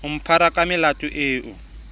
o mphara ka melato eo